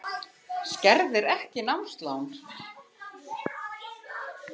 Skerðir ekki námslán